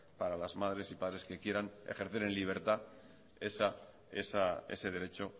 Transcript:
para las madres y padres que quieran ejercer en libertad ese derecho